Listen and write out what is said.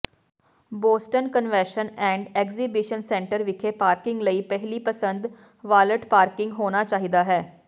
Boston convention and exhibition centre ਵਿਖੇ parking ਲਈ ਪਹਿਲੀ ਪਸੰਦ ਵਾਲਟ ਪਾਰਕਿੰਗ ਹੋਣਾ ਚਾਹੀਦਾ ਹੈ